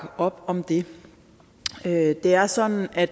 op om det det er sådan at